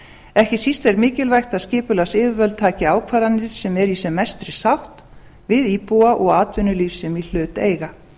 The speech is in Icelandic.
ekki síst er mikilvægt að skipulagsyfirvöld taki ákvarðanir sem eru í sem mestri sátt við íbúa og atvinnulíf sem í hlut eiga